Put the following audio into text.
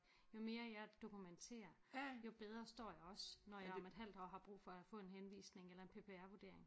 Jo mere jeg dokumenterer jo bedre står jeg også når jeg om et halvt år har brug for at få en henvisning eller en PPR vurdering